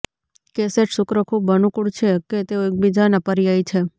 cassette શુક્ર ખૂબ અનુકૂળ છે કે તેઓ એકબીજાના પર્યાય છે